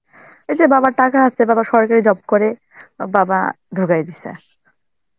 এই যে বাবার টাকা আছে, বাবা সরকারি job করে, অ বাবা ঢুকাই দিসে.